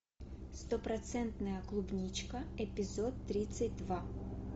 стопроцентная клубничка эпизод тридцать два